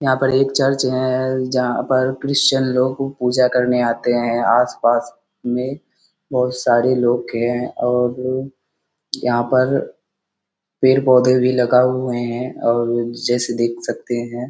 यहाँ पर एक चर्च जहाँ पर क्रिश्चियन लोगों की पूजा करने आते हैं आस-पास में बहुत सारे लोग के हैं और लोग यहाँ पेड़-पौधे भी लगा हुआ है और देख सकते हैं।